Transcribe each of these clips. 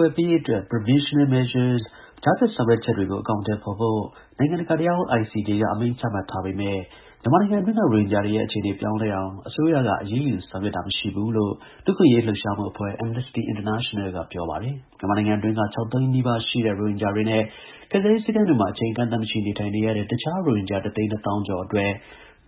ွယ်ပေးရေးအတွက် Provisional Measures ကြားဖြတ်ဆောင်ရွက်ချက်တွေကို အကောင်အထည်ဖော်ဖို့ နိုင်ငံတကာတရားရုံး (ICJ) က အမိန့်ချမှတ်ထားပေမယ့် မြန်မာနိုင်ငံအတွင်းက ရိုဟင်ဂျာတွေရဲ့ အခြေအနေ ပြောင်းလဲအောင် အစိုးရက အရေးယူဆောင်ရွက်တာ မရှိဘူးလို့ လူ့အခွင့်အရေး လှုပ်ရှားမှုအဖွ့ဲကြီး Amnesty International က ပြောပါတယ်။ မြန်မာနိုင်ငံအတွင်းက ၆ သိန်းနီးပါးရှိတဲ့ ရိုဟင်ဂျာတွေနဲ့ ကယ်ဆယ်ရေး စခန်းတွေမှာ အချိန်အကန့်အသတ်မရှိ နေထိုင်နေရတဲ့ တခြား ရိုဟင်ဂျာ ၁ သိန်း ၂ သောင်းကျော်အတွက်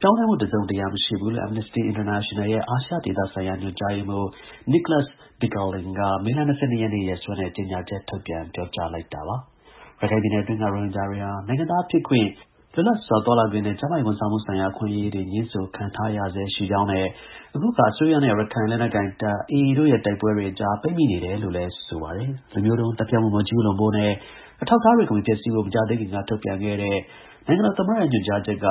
ပြောင်းလဲမှု တစုံတရာ မရှိဘူးလို့ Amnesty International ရဲ့ အာရှဒေသဆိုင်ရာ ညွှန်ကြားရေးမှူး Nicholas Bequelin က မေလ ၂၂ ရက်နေ့ ရက်စွဲနဲ့ ကြေညာချက်ထုတ်ပြန် ပြောကြားလိုက်တာပါ။ ရခိုင်ပြည်နယ်တွင်းက ရိုဟင်ဂျာတွေဟာ နိုင်ငံသားဖြစ်ခွင့်၊ လွတ်လပ်စွာ သွားလာခွင့်နဲ့ ကျန်းမာရေးဝန်ဆောင်မှုဆိုင်ရာ အခွင့်အရေးတွေ ငြင်းဆိုခံထားရဆဲ ရှိကြောင်းနဲ့ အခုအခါ အစိုးရနဲ့ ရခိုင်လက်နက်ကိုင်တပ် (AA) တို့ရဲ့ တိုက်ပွဲတွေအကြား ပိတ်မိနေတယ်လို့လည်း ဆိုပါတယ်။ လူမျိုးတုံးသတ်ဖြတ်မှု မကျူးလွန်ဖို့နဲ့ အထောက်အထားတွေကို မဖျက်ဆီးဖို့ မကြာသေးမီက ထုတ်ပြန်ခဲ့တဲ့ နိုင်ငံတော်သမ္မတရဲ့ ညွှန်ကြားချက်က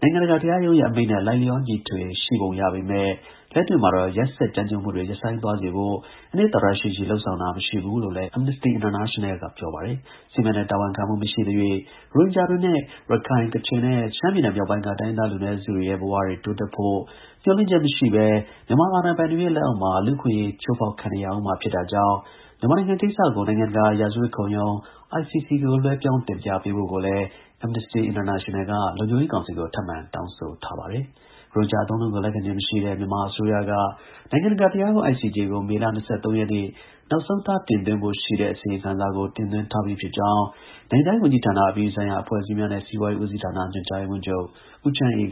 နိုင်ငံတကာ တရားရုံးရဲ့ အမိန့်နဲ့ လိုက်လျောညီထွေ ရှိပုံရပေမယ့် လက်တွေ့မှာတော့ ရက်စက်ကြမ်းကြုတ်မှုတွေ ရပ်ဆိုင်းစေဖို့ အနှစ်သာရရှိရှိ လုပ်ဆောင်တာ မရှိဘူးလို့လည်း Amnesty International က ပြောပါတယ်။ စစ်မှန်တဲ့ တာဝန်ခံမှု မရှိသရွေ့ ရိုဟင်ဂျာတွေနဲ့ ရခိုင်၊ ကချင်နဲ့ ရှမ်းပြည်နယ်မြောက်ပိုင်းက တိုင်းရင်းသား လူနည်းစုတွေရဲ့ ဘဝတွေ တိုးတက်ဖို့ မျှော်လင့်ချက်မရှိဘဲ မြန်မာအာဏာပိုင်တွေရဲ့ လက်အောက်မှာ လူ့အခွင့်အရေး ချိုးဖောက်ခံနေရဦးမှာ ဖြစ်တာကြောင့် မြန်မာနိုင်ငံကိစ္စကို နိုင်ငံတကာ ရာဇဝတ်ခုံရုံး (ICC) ကို လွှဲပြောင်းတင်ပြပေးဖို့ကိုလည်း Amnesty International က လုံခြုံရေးကောင်စီကို ထပ်မံ တောင်းဆိုထားပါတယ်။ ရိုဟင်ဂျာ အသုံးအနှုန်းကို လက်ခံခြင်းမရှိတဲ့ မြန်မာအစိုးရက နိုင်ငံတကာတရားရုံး (ICJ) ကို မေလ ၂၃ ရက်နေ့ နောက်ဆုံးထား တင်သွင်းဖို့ရှိတဲ့ အစီရင်ခံစာကို တင်သွင်းထားပြီးဖြစ်ကြောင်း နိုင်ငံခြားရေးဝန်ကြီးဌာန၊ အပြည်ပြည်ဆိုင်ရာ အဖွဲ့အစည်းများနဲ့ စီးပွားရေးဦးစီးဌာန ညွှန်ကြားရေးမှူးချုပ် ဦးချမ်းအေး